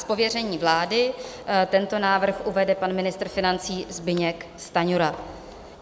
Z pověření vlády tento návrh uvede pan ministr financí Zbyněk Stanjura.